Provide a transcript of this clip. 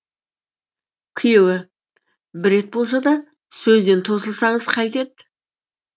күйеуі бір рет болса да сөзден тосылсаңыз қайтеді